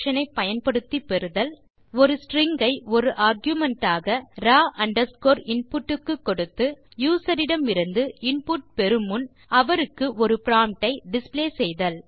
ah prompt to the before taking the by passing ஒரு string ஐ ஒரு argument ஆக ராவ் அண்டர்ஸ்கோர் இன்புட் க்கு கொடுத்து யூசர் இடமிருந்து இன்புட் பெறுமுன் அவருக்கு ஒரு ப்ராம்ப்ட் ஐ டிஸ்ப்ளே செய்தல்